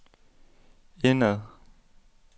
indad